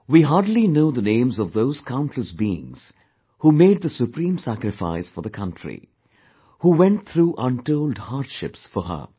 We hardly know the names of those countless beings who made the supreme sacrifice for the country, who went through untold hardships for Her